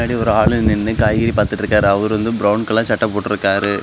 ஒரு ஆளு நின்னு காய்கறி பாத்துட்டு இருக்காரு அவரு வந்து ப்ரௌன் கலர் சட்ட போட்டுறுக்காரு.